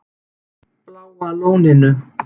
Bláa Lóninu